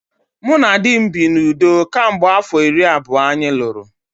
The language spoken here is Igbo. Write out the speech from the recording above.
Mụ na di m bi n’udo kemgbe afọ iri abụọ anyị lụrụ